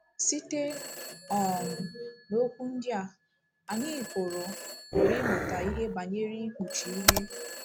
Site um n’okwu ndị a, anyị pụrụ pụrụ ịmụta ihe banyere ikpuchi ihe.